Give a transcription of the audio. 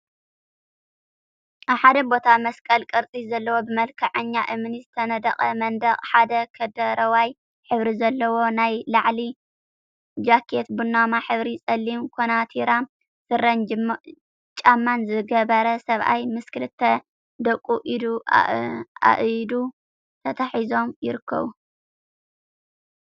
ኣብ ሓደ ቦታ መስቀል ቅርጺ ዘለዎ ብመልክዐኛ እምኒ ዝተነደቀ መንድቅ ሓደ ከደረዋይ ሕብሪ ዘለዎ ናይ ላዕሊ ጃኬት ቡናማ ሕብሪን ጸሊም ኮናቲራ ስረን ጫማን ዝገበረ ሰብኣይ ምስ ክልተ ደቁ ኢድ ኣኢድ ተተሓሒዞም ይርክቡ።